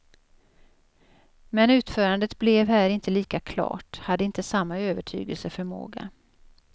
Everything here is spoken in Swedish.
Men utförandet blev här inte lika klart, hade inte samma övertygelseförmåga.